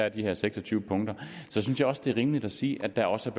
i de her seks og tyve punkter så synes jeg også det er rimeligt at sige at der også